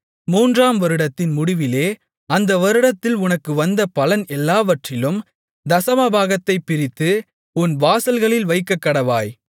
மூன்றாம் வருடத்தின் முடிவிலே அந்தவருடத்தில் உனக்கு வந்த பலன் எல்லாவற்றிலும் தசமபாகத்தைப் பிரித்து உன் வாசல்களில் வைக்கக்கடவாய்